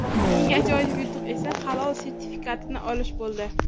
Eng ajoyib yutuq esa Halol sertifikatini olish bo‘ldi.